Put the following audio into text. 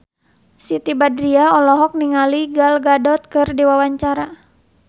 Siti Badriah olohok ningali Gal Gadot keur diwawancara